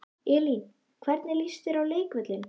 Elín: Hvernig líst þér á leikvöllinn?